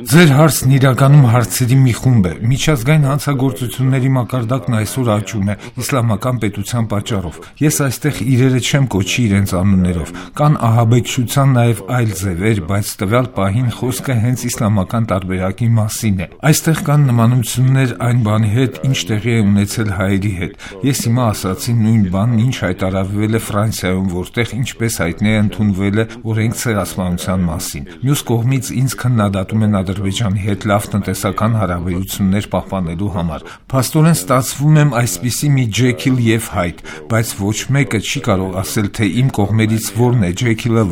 Ձեր հարցն իրականում հարցերի մի խումբ է: Միջազգային հանցագործությունների մակարդակն այսօր աճում է «Իսլամական պետության» պատճառով: Ես այստեղ իրերը չեմ կոչի իրենց անուններով: Կան ահաբեկչության նաեւ այլ ձեւեր, բայց տվյալ պահին խոսքը հենց իսլամական տարբերակի մասին է: Այստեղ կան նմանություններ այն բանի հետ, ինչ տեղի է ունեցել հայերի հետ: Ես հիմա ասացի նույն բանն, ինչ հայտարարվել է Ֆրանսիայում, որտեղ, ինչպես հայտնի է, ընդունվել է օրենք Ցեղասպանության մասին: Մյուս կողմից ինձ քննադատում են Ադրբեջանի հետ լավ տնտեսական հարաբերություններ պահպանելու համար: Փաստորեն, ստացվում է այսպիսի մի Ջեքիլ եւ Հայդ, բայց ոչ մեկը չի կարող ասել, թե իմ կողմերից որն է Ջեքիլը,